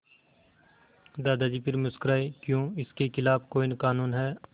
दादाजी फिर मुस्कराए क्यों इसके खिलाफ़ कोई कानून है